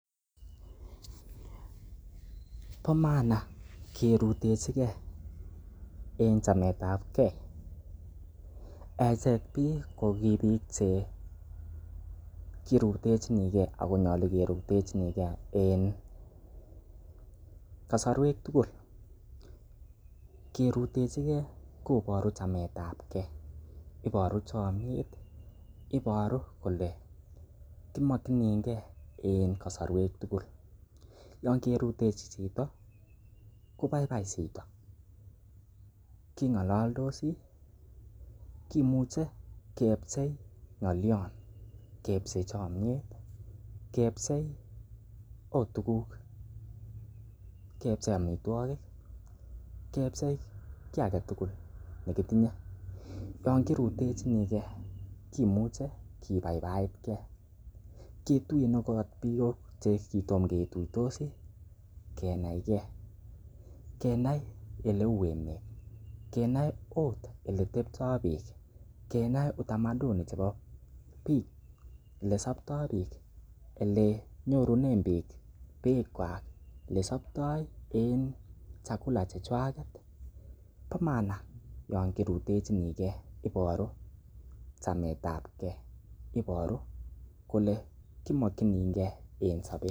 Bo maana kerutechige en chametab ge echek biik ko ki biik cherutechini ge ago nyolu kerutechini ge en kasarwek tugul. Kerutechige ko boru chametab ge iboru chomyet iboru kole kimokinige en kasarwek tugul yon kirutechi chito kobaibai chito, king'ololdosi kimuche kepchei ng'olyon kepchei chomyet kepchei ot tuguk kepchei amitwogik, kepchei kiy age tugul ne kitinye yon kirutechini ge kimuche kibaibait ge kituyen ot biik ch ekitom ketuitosi kinae ge, kenai ole u emet kenae ot oletepto biik, kenai utamaduni chebo biik ele sopto biik ele nyorunen biik bikwak ole sopto en chakula chechwak, bo maana yon kirutechini ge iboru chmaetab ge iboru kole kiokininge en sobet.